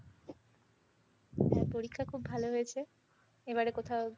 হ্যাঁ, পরীক্ষা খুব ভালো হয়েছে। এবার কোথাও